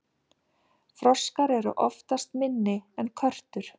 froskar eru oftast minni en körtur